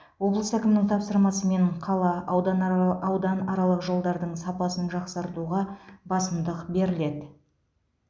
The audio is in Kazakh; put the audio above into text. облыс әкімінің тапсырмасымен қала ауданарала ауданаралық жолдардың сапасын жақсартуға басымдық беріледі